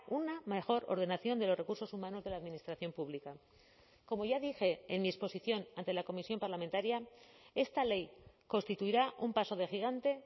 una mejor ordenación de los recursos humanos de la administración pública como ya dije en mi exposición ante la comisión parlamentaria esta ley constituirá un paso de gigante